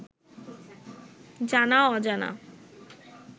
জানা-অজানা